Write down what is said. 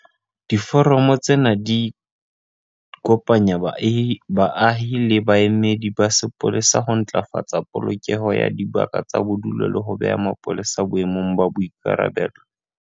Diforamo tsena di kopanya baahi le baemedi ba sepolesa ho ntlafatsa polokeho ya dibaka tsa bodulo le ho beha mapolesa boemong ba boikarabelo.